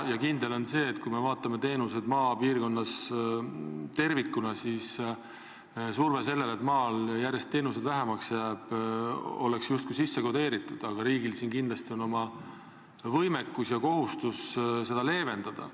Kindel on see, et kui vaatame teenuste osutamist maapiirkonnas tervikuna, siis surve sellele, et maal jääb teenuseid järjest vähemaks, on olukorda justkui sisse kodeeritud, aga riigil on siin kindlasti võime ja kohustus seda leevendada.